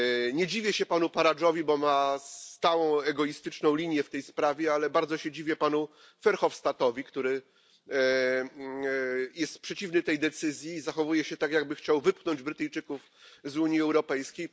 Nie dziwię się panu Farage'owi, bo trzyma się stałej, egoistycznej linii w tej sprawie, ale bardzo się dziwię panu Verhofstadtowi, który jest przeciwny tej decyzji i zachowuje się tak, jakby chciał wypchnąć Brytyjczyków z Unii Europejskiej.